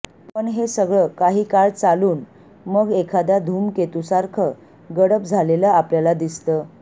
पण हे सगळं काही काळ चालून मग एखाद्या धूमकेतूसारखं गडप झालेलं आपल्याला दिसतं